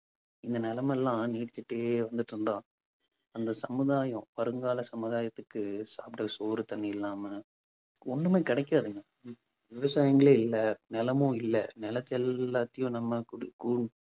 இந்த நிலைமை எல்லாம் நீடிச்சிட்டே வந்துட்டிருந்தா அந்த சமுதாயம் வருங்கால சமுதாயத்துக்கு சாப்பிட சோறு தண்ணி இல்லாம ஒண்ணுமே கிடைக்காதுங்க விவசாயங்களே இல்ல நிலமும் இல்ல நிலத்தை எல்லாத்தையும் நம்ம